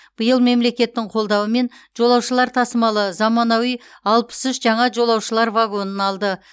биыл мемлекеттің қолдауымен жолаушылар тасымалы заманауи алпыс үш жаңа жолаушылар вагонын алды